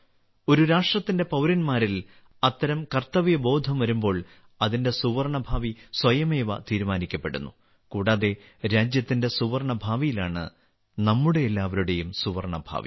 ഒരു രാഷ്ട്രത്തിന്റെ പൌരന്മാരിൽ അത്തരം കർത്തവ്യബോധം വരുമ്പോൾ അതിന്റെ സുവർണ്ണ ഭാവി സ്വയമേവ തീരുമാനിക്കപ്പെടുന്നു കൂടാതെ രാജ്യത്തിന്റെ സുവർണ്ണ ഭാവിയിലാണ് നമ്മുടെ എല്ലാവരുടെയും സുവർണ്ണ ഭാവി